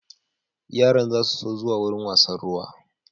Yaran za su so zuwa wurin wasann ruwa